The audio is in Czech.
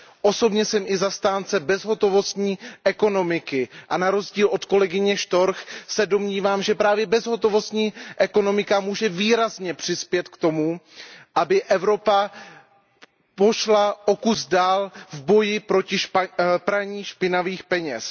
Osobně jsem i zastánce bezhotovostní ekonomiky a na rozdíl od kolegyně von Storch se domnívám, že právě bezhotovostní ekonomika může výrazně přispět k tomu, aby Evropa pokročila o kus dál v boji proti praní špinavých peněz.